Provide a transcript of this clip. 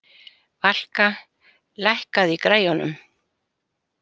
Valka, lækkaðu í græjunum.